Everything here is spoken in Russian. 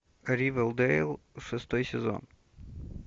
ривердейл шестой сезон